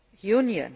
Union.